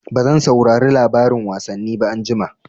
Bazan saurari labarin wasanni ba anjima.